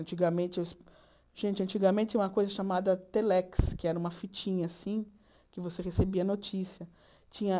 Antigamente, gente, antigamente tinha uma coisa chamada Telex, que era uma fitinha assim, que você recebia notícia. Tinha